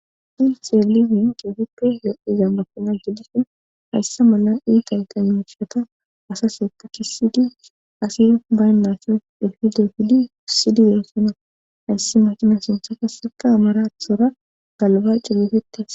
ilxie lizin keefuppe yo7iza mafina gidishi hayssa mala iitayqa mioshata asaseta kisidi asira baynnaso defidfidkisidi yeessona hayssi makina suntha kaseka amarathora galba culufetes